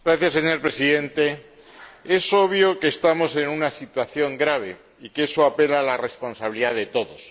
Señor Presidente, es obvio que estamos en una situación grave y que eso apela a la responsabilidad de todos.